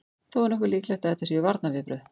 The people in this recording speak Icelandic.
Þó er nokkuð líklegt að þetta séu varnarviðbrögð.